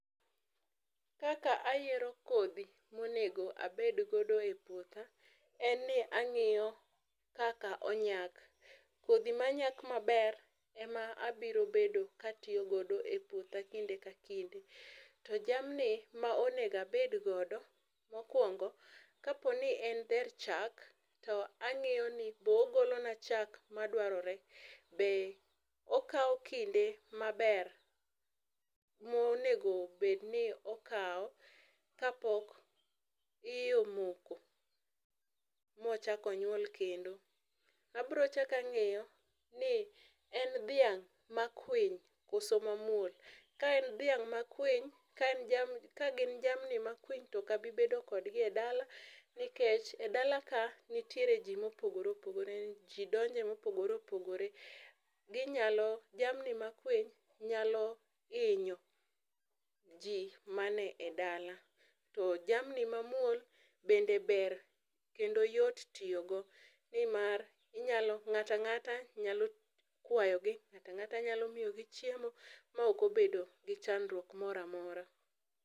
Kaka ayiero kodhi monego abed godo e puotha en ni angiyo kaka onyak, kodhi manyak maber ema abiro bedo ka aityo godo e puothe kinde ka kinde, to jamni ma onego abed godo mokuongo kaponi en dher chak to angiyo ni be ogola na chak madwarore, be okaw kinde maber monego bed ni okaw kapok iye omoko mochak onyuol kendo. Abiro chak angiyo ni en dhiang ma kwiny koso ma muol, ka en dhiang ma kwiny, kaen jamni, kagin jamni ma kwiny to ak obi bedo kodgi e dala to ok abi bedo kodgi e dala nikech e dala ka nitiere jii ma opogore opogore, jo donjo ma opogore opogore, ginyalo, jamni ma kwiny nyalo hinyo jii manie e dala, to jamni ma muol bende ber kendo yot tiyo go nimar ngato angata nyalo kwayogi, ngata angata nyalo miyogi chiemo maok obedo gi chandruok moro amora